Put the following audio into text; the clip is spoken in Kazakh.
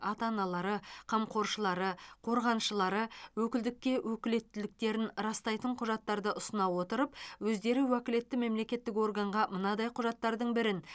ата аналары қамқоршылары қорғаншылары өкілдікке өкілеттіктерін растайтын құжаттарды ұсына отырып өздері уәкілетті мемлекеттік органға мынадай құжаттардың бірін